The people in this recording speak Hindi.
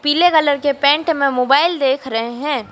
पीले कलर के पेंट में मोबाइल देख रहे हैं।